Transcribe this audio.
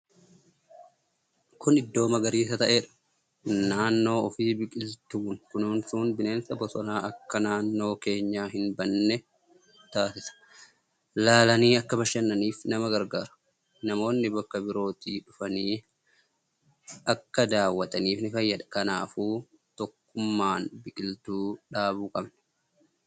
Kun iddoo magariisa ta'redha naannoo ufii biqiltuun kunuunsun bineensa bosona akka naannoi keenya hin banne taasisa. Laalanii akka bashannaniif nama gargaara. Namoonni bakka birooti dhufanii akkkadaawwatanif ni fayyada. Kanaafuu tokkummana biqiltuu dhaabuu qabna.